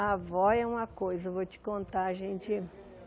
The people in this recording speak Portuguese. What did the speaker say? A avó é uma coisa, eu vou te contar gente.